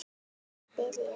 Nú bið ég ykkur